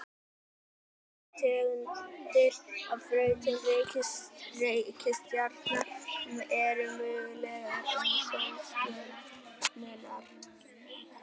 tvær tegundir af brautum reikistjarna eru mögulegar um sólstjörnurnar